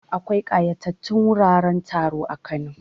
Akwai ƙayatatattun wuraren taro a Kano.